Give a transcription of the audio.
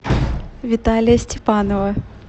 виталия степанова